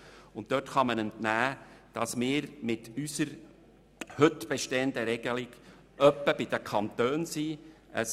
Dieser kann man entnehmen, dass wir mit unserer heute bestehenden Regelung nicht schlecht dastehen.